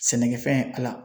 Sɛnɛkɛfɛn Ala